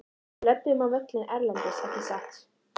Við löbbum á völlinn erlendis ekki satt?